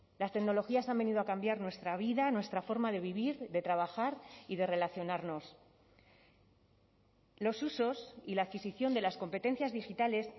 las tecnologías han venido a cambiar nuestra vida nuestra forma de vivir de trabajar y de relacionarnos los usos y la adquisición de las competencias digitales